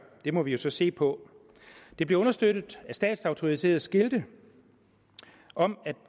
må vi så se på det bliver understøttet af statsautoriserede skilte om at